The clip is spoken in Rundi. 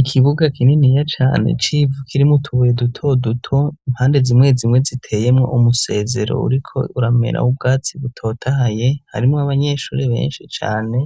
Ikibuga kinini ya cane civu kirimo tubuye duto duto impande zimwe zimwe ziteyemo umusezero uriko urameraho ubwatsi butotahaye harimo abanyeshuri benshi Cane